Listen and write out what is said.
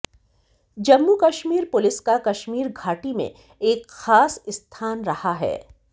Jammu Kashmir police का कश्मीर घाटी में एक खास स्थान रहा है